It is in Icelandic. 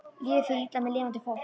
Lífið fer illa með lifandi fólk.